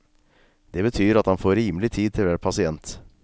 Det betyr at han får rimelig tid til hver passient.